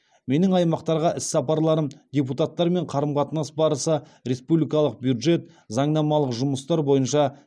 менің аймақтарға іс сапарларым депутаттармен қарым қатынас барысы республикалық бюджет заңнамалық жұмыстар бойынша сіздерде үлкен потенциал бар екенін көрсетті деді ол